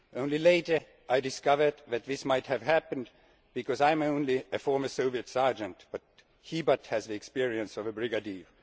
Only later I discovered that this might have happened because I am only a former Soviet sergeant, but he has the experience of a brigadier.